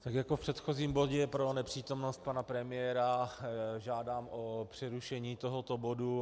Tak jako v předchozím bodě pro nepřítomnost pana premiéra žádám o přerušení tohoto bodu.